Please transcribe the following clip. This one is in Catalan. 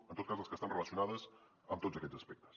en tot cas les que estan relacionades amb tots aquests aspectes